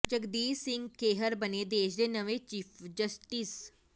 ਜਗਦੀਸ਼ ਸਿੰਘ ਖੇਹਰ ਬਣੇ ਦੇਸ਼ ਦੇ ਨਵੇਂ ਚੀਫ਼ ਜਸਟਿਸ